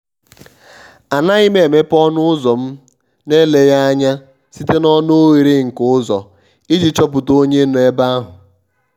ànaghị́ m émépé ọnụ́ ụ́zọ̀ m nà-èlèghị́ ányá site n'ọnụ́ oghere nke ụ́zọ̀ iji chọ́pụ̀ta onye nọ́ ebe ahụ́.